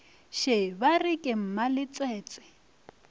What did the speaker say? še ba re ke mmaletswetswe